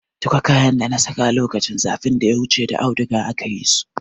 Duka kayan dana saka lokacin zafin da ya wuce da audiga aka yi su.